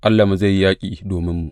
Allahnmu zai yi yaƙi dominmu!